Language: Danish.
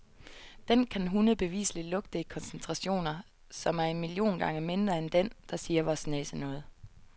Den kan hunde bevisligt lugte i koncentrationer, som er en million gange mindre end den, der siger vor næse noget.